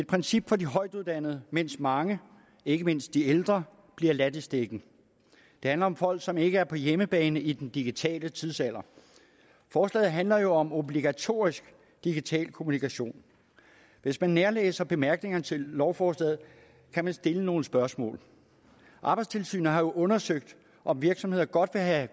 princip for de højtuddannede mens mange ikke mindst de ældre bliver ladt i stikken det handler om folk som ikke er på hjemmebane i den digitale tidsalder forslaget handler jo om obligatorisk digital kommunikation hvis man nærlæser bemærkningerne til lovforslaget kan man stille nogle spørgsmål arbejdstilsynet har jo undersøgt om virksomheder godt vil have